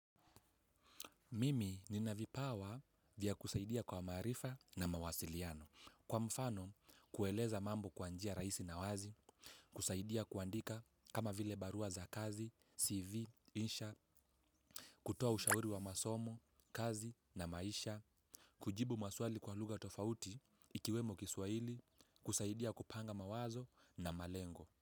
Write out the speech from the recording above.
Mimi nina vipawa vya kusaidia kwa maarifa na mawasiliano. Kwa mfano, kueleza mambo kwa njia rahisi na wazi, kusaidia kuandika kama vile barua za kazi, CV, insha, kutoa ushauri wa masomo, kazi na maisha, kujibu maswali kwa lugha tofauti ikiwemo kiswahili, kusaidia kupanga mawazo na malengo.